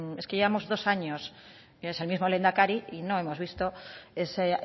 es que llevamos dos años es el mismo lehendakari y no hemos visto esa